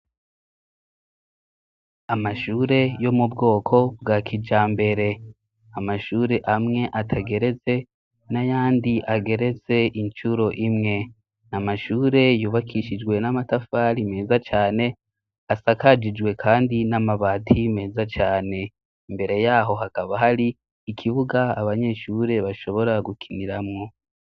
Amashure yo mu bwoko bwa kija mbere, amashure amwe atageretse n'ayandi ageretse incuro imwe. N'amashure yubakishijwe n'amatafari meza cane asakajijwe kandi n'amabati meza cane. Imbere yaho hakaba har'ikibuga abanyeshure bashobora gukiniramwo.